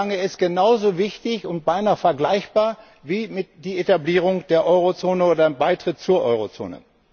Ich würde sagen, er ist genauso wichtig und beinahe damit vergleichbar wie die Etablierung der Eurozone oder ein Beitritt zur Eurozone.